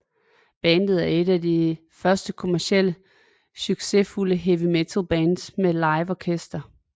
Bandet er et af de første kommercielt succesfulde heavy metal bands med live orkester